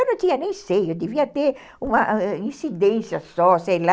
Eu não tinha nem seio, eu devia ter uma incidência só, sei lá.